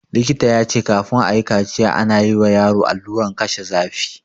Likita ya ce kafin ayi kaciya ana yi wa yaro alluran kashe zafi